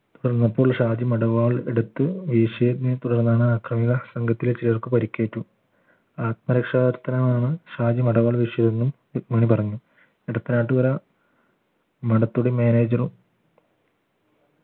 തുടർന്നപ്പോൾ ഷാജി മടവാൾ എടുത്ത് വീശിയതിനെ തുടർന്നാണ് ആക്രമിക സംഘത്തിലെ ചിലർക്ക് പരിക്കേറ്റു ആത്മരക്ഷാകർത്തനമാണ് ഷാജി മടവാൾ വീശിയതെന്നും രുക്മിണി പറഞ്ഞു എടത്തനാട്ടുകര manager ഉം